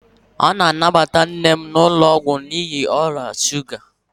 A ga-anabata nne m n'ụlọ ọgwụ n'ihi ọrịa shuga